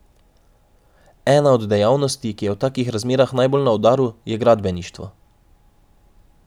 Ena od dejavnosti, ki je v takih razmerah najbolj na udaru, je gradbeništvo.